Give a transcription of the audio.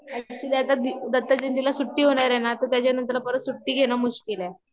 actually आता दत्तजयंतीला सुट्टी होणार आहे ना त्याच्यानंतर परत सुट्टी घेण मुश्किल आहे